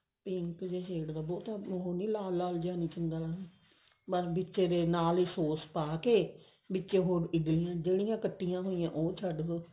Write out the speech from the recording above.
pink ਜੇ shade ਦਾ ਬਹੁਤ ਲਾਲ ਨੀ ਕਰਨਾ ਉਹਨੂੰ ਪਰ ਵਿੱਚ ਇਹਦੇ ਨਾਲ ਹੀ sos ਪਾ ਕੇ ਵਿੱਚ ਇਦ੍ਲੀਆਂ ਜਿਹੜੀਆਂ ਕੱਟੀਆਂ ਹੋਈਆਂ ਉਹ ਛੱਡ ਦੋ